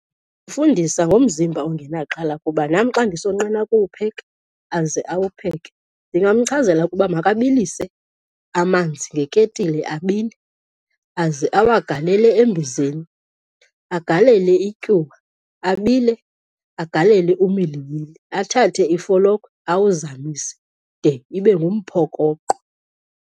Fundisa ngomzimba ongenaxhala kuba nam xa ndisonqena ukuwupheka aze awupheke. Ndingamchazela ukuba makabilise amanzi ngeketile abile aze awagalele embizeni, agalele ityuwa abile. Agalele umilimili, athathe ifolokhwe awuzamise de ibe ngumphokoqo.